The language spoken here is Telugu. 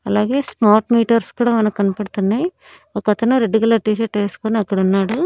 అలాగే స్మార్ట్ మీటర్స్ కూడా మన కనపడుతున్నాయ్ ఒకతను రెడ్డు కలర్ టీ షర్ట్ ఏసుకొని అక్కడున్నాడు.